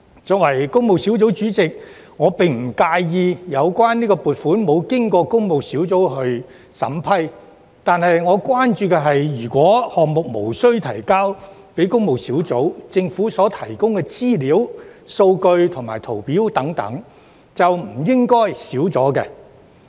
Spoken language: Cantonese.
作為工務小組委員會主席，我並不介意有關撥款沒有經過工務小組委員會審核，但我關注的是，如果有關項目無須提交工務小組委員會，政府所提供的資料、數據和圖表等便不應該減少。